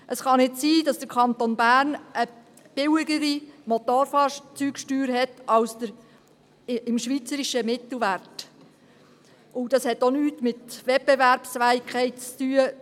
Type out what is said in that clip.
Es kann nicht sein, dass der Kanton Bern eine billigere Motorfahrzeugsteuer hat als der schweizerische Mittelwert, und das hat auch nichts mit Wettbewerbsfähigkeit zu tun.